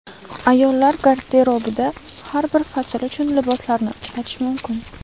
Ayollar garderobida har bir fasl uchun liboslarni uchratish mumkin.